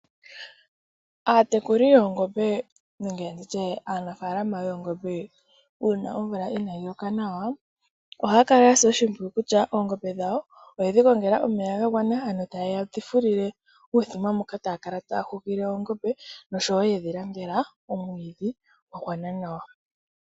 Aatekuli yoongobe nenge nditye aanafaalama yoongobe uuna omvula inaayi loka nawa, ohaya kala yasa oshimpwiyu kutya oongobe dhawo oyedhi gongelela omeya ga gwana, ano taye dhi fulile uumuthima moka taya kala taya hupile oongobe, nosho wo yedhi landela omwiidhi gwa gwana nawa.